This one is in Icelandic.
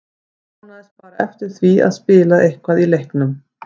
Ég vonaðist bara eftir því að spila eitthvað í leiknum.